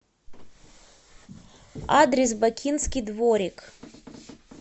адрес бакинский дворик